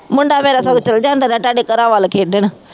ਮੁੰਡਾ ਮੇਰਾ ਸਗੋਂ ਚੱਲ ਜਾਂਦਾ ਰਿਹਾ ਤੁਹਾਡੇ ਘਰਾਂ ਵੱਲ ਖੇਡਣ